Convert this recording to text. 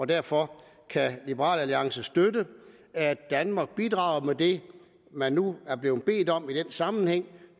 derfor kan liberal alliance støtte at danmark bidrager med det man nu er blevet bedt om i den sammenhæng